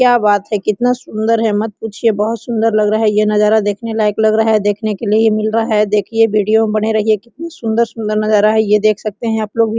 क्या बात है कितना सुन्दर है मत पूछिए बहुत सुन्दर लग रहा है ये नजारा देखने लायक लग रहा है देखने के लिए ये मिल रहा है देखिये वीडियो में बने रहिए कितनी सुन्दर सुन्दर नजारा है ये देख सकते है आपलोग भी।